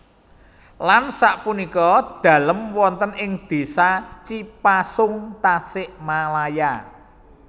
Lan sak punika dalem wonten ing Desa Cipasung Tasikmalaya